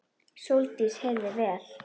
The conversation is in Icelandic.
Sóldís heyrði vel.